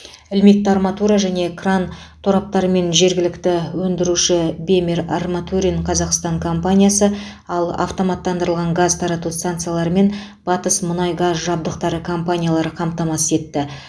ілмекті арматура және кран тораптарымен жергілікті өндіруші бемер арматурин қазақстан компаниясы ал автоматтандырылған газ тарату станцияларымен батыс мұнай газ жабдықтары компаниялары қамтамасыз етті